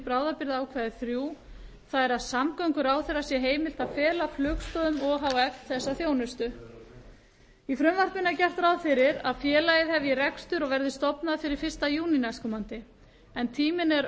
bráðabirgðaákvæði þrír það er að samgönguráðherra sé heimilt að fela flugstoðum o h f þessa þjónustu í frumvarpinu er gert ráð fyrir að félagið hefji rekstur og verði stofnað fyrir fyrsta júní næstkomandi en tíminn er